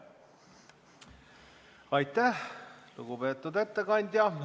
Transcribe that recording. Aitäh, lugupeetud ettekandja!